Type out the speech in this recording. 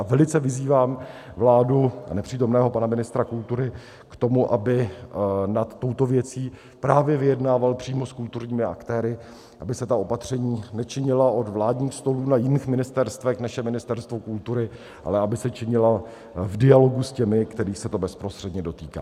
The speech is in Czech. A velice vyzývám vládu a nepřítomného pana ministra kultury k tomu, aby nad touto věcí právě vyjednával přímo s kulturními aktéry, aby se ta opatření nečinila od vládních stolů, na jiných ministerstvech, než je Ministerstvo kultury, ale aby se činilo v dialogu s těmi, kterých se to bezprostředně dotýká.